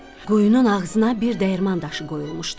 Quyunun ağzına bir dəyirman daşı qoyulmuşdu.